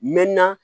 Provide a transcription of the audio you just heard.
Mɛ na